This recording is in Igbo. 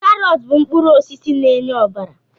Karọt bụ mkpụrụ osisi na-enye ọbara